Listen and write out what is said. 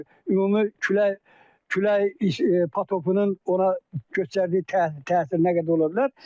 Ümumi külək, külək potopunun ona göstərdiyi təsir nə qədər ola bilər.